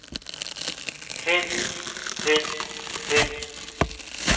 hen hen hen